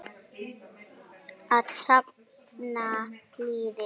Að safna liði!